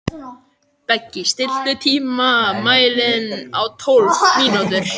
Beggi, stilltu tímamælinn á tólf mínútur.